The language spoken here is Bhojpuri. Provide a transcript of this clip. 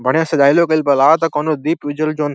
बढ़िया सजावलो गईल बा। लागत कौनों दीप उजल जोवन --